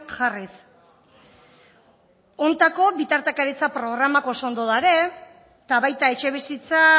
jarriz hontako bitartekaritza programak oso ondo dare eta baita etxebizitza